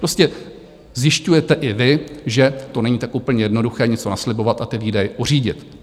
Prostě zjišťujete i vy, že to není tak úplně jednoduché něco naslibovat a ty výdaje uřídit.